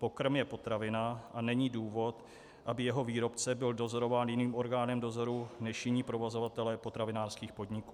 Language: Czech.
Pokrm je potravina a není důvod, aby jeho výrobce byl dozorován jiným orgánem dozoru než jiní provozovatelé potravinářských podniků.